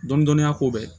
Dɔni dɔni a ko bɛ